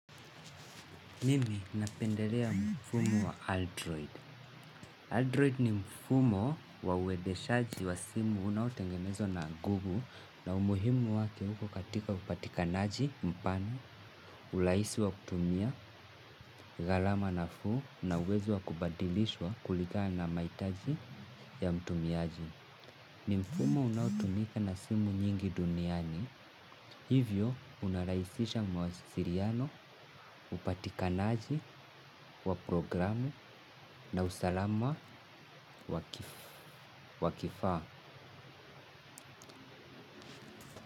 Mimi napendelea mfumo wa Android. Android ni mfumo wa uendeshaji wa simu unaotengenezwa na google na umuhimu wake huko katika upatikanaji mpana, urahisi wa kutumia, gharama nafuu na uwezo wa kubadilishwa kulingana na mahitaji ya mtumiaji. Ni mfumo unaotumika na simu nyingi duniani, hivyo unarahisisha mawasiliano, upatikanaji, wa programu na usalama wa kifaa.